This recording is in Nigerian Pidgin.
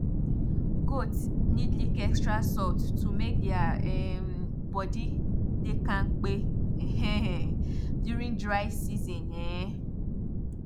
goats need lick extra salt to make dia um body dey kampe um during dry season um